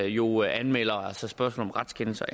jo anmelder altså spørgsmål om retskendelser